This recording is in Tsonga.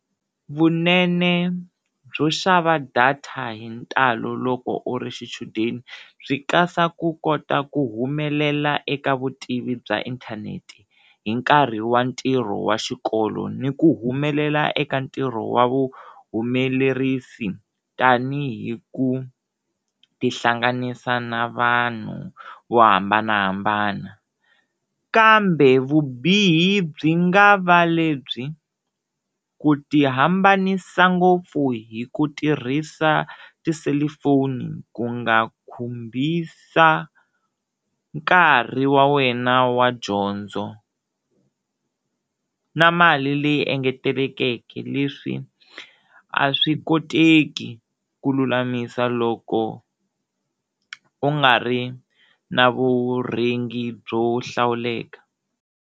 Vunene byo xava data hi ntalo loko u ri xichudeni byi kasa ku kota ku humelela eka vutivi bya inthanete hi nkarhi wa ntirho wa xikolo ni ku humelela eka ntirho wa vu humelerisi tanihi ku ti hlanganisa na vanhu vo hambanahambana kambe vubihi byi nga va lebyi ku ti hambanisa ngopfu hi ku tirhisa ti cellphone ku nga khumbisa nkarhi wa wena wa dyondzo na mali leyi engetelekeke leswi a swi koteki ku lulamisa loko u nga ri na vurhengi byo hlawuleka.